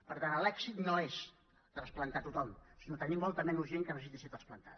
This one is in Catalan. per tant l’èxit no és trasplantar tothom sinó tenir molta menys gent que necessiti ser trasplantada